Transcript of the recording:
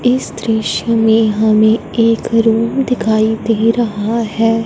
इस दृश्य में हमें एक रूम दिखाई दे रहा है।